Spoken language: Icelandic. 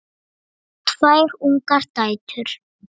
Ég á tvær ungar dætur.